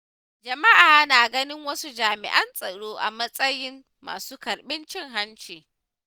Jama’a na ganin wasu jami’an tsaro a matsayin masu karɓar cin hanci.